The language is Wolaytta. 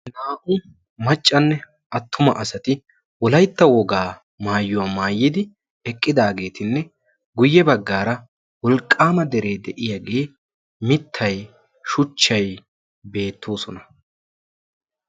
Naa''u maccanne attuma asati Wolaytta wogaa maayyuwa maayyidi eqqidaagetinne guyye baggaara wolqqaama dere de'iyaage mittay, shuchchay beettoosona.